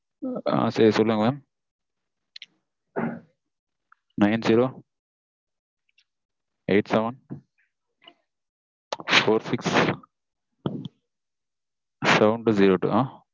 ஆஹ் சரி சொல்லுங்க mam nine zero eight seven four six seven two zero two mam